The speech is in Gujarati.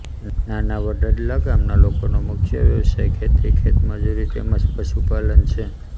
નાના વડદલા ગામના લોકોનો મુખ્ય વ્યવસાય ખેતી ખેતમજૂરી તેમ જ પશુપાલન છે